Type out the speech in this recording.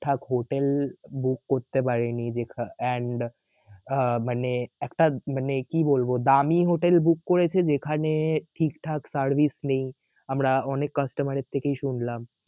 ঠাক hotel book করতে পারেনি যেখা~ and আহ মানে একটা মানে কি বলব দামি হোটেল book করেছে যেখানে ঠিকঠাক service নেই আমরা অনেক customer এর থেকেই শুনলাম